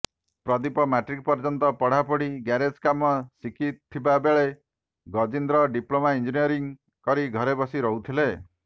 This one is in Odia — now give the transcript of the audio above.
ପ୍ରଦୀପ ମାଟ୍ରିକ ପର୍ଯ୍ୟନ୍ତ ପାଠପଢି ଗ୍ୟାରେଜ କାମ ଶିଖିଥିବାବେଳେ ଗଜିନ୍ଦ୍ର ଡିପ୍ଲୋମା ଇଂଜିନିୟରିଙ୍ଗ୍ କରି ଘରେ ବସି ରହୁଥିଲେ